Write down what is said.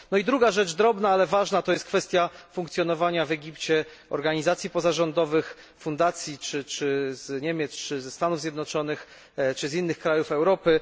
Druga rzecz drobna, ale ważna to jest kwestia funkcjonowania w Egipcie organizacji pozarządowych, fundacji z Niemiec czy ze Stanów Zjednoczonych, czy też z innych krajów Europy.